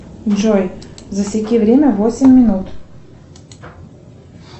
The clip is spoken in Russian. джой засеки время восемь минут